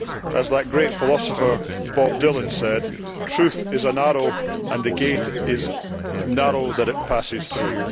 As that great philosopher Bob Dylan said Truth is an arrow and the gate is narrow that it passes through.'